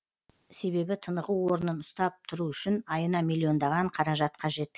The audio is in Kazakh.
себебі тынығу орнын ұстап тұру үшін айына миллиондаған қаражат қажет